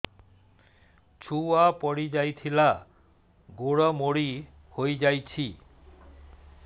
ଛୁଆ ପଡିଯାଇଥିଲା ଗୋଡ ମୋଡ଼ି ହୋଇଯାଇଛି